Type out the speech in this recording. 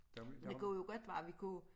Det kunne jo godt være vi kunne